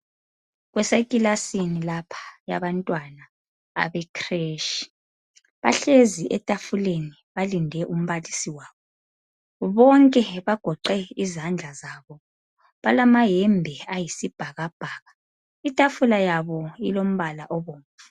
Kuse klilasini lapha yabantwana bekhileshi bahlezi etafuleni balinde umbalisi wabo bonke bagoqe izandla zabo balama yembe ayisibhakabhaka itafula yabo ilombala obomvu